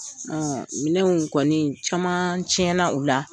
minɛnw kɔni caman tiɲɛna u la.